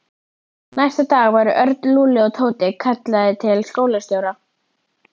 Næsta dag voru Örn, Lúlli og Tóti kallaðir til skólastjóra.